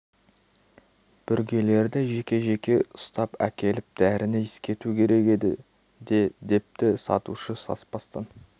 бүргелерді жеке-жеке ұстап әкеліп дәріні иіскету керек еді де депті сатушы саспастан